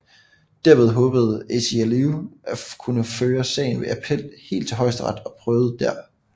Derved håbede ACLU at kunne føre sagen ved appel helt til højesteret og prøvet dér